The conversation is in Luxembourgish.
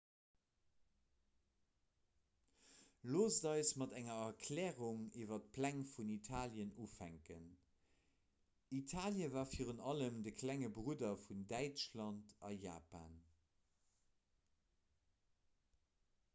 loosst eis mat enger erklärung iwwer d'pläng vun italien ufänken italie war virun allem de klenge brudder vun däitschland a japan